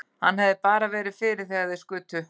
Hann hefði bara verið fyrir þegar þeir skutu.